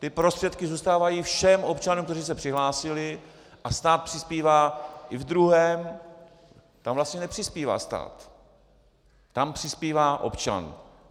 Ty prostředky zůstávají všem občanům, kteří se přihlásili, a stát přispívá i ve druhém - tam vlastně nepřispívá stát, tam přispívá občan.